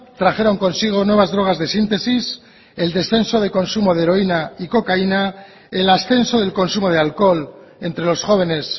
trajeron consigo nuevas drogas de síntesis el descenso de consumo de heroína y cocaína el ascenso del consumo de alcohol entre los jóvenes